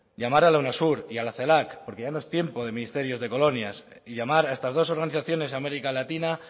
llamar a unasur y a la celac porque ya no es tiempo de ministerios de colonias y llamar a estas dos organizaciones américa latina